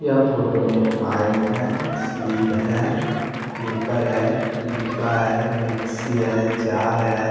यह फोटो में एक पाइप है स्लिब है पेपर है डिब्बा है मिक्सी है जार है।